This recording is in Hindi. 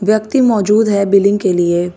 व्यक्ति मौजूद है बिलिंग के लिए--